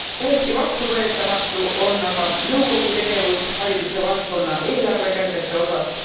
Täiesti vastuvõetamatu on aga nõukogu tegevus hariduse valdkonna eelarvekärbete osas.